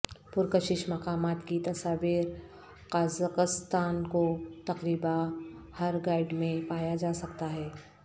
پرکشش مقامات کی تصاویر قازقستان کو تقریبا ہر گائیڈ میں پایا جا سکتا ہے